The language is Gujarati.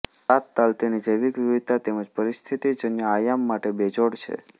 સાતતાલ તેની જૈવિક વિવિધતા તેમજ પરિસ્થિતિજન્ય આયામ માટે બેજોડ છે